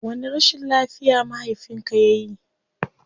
Wani rashin lafiya mahafinka yayi?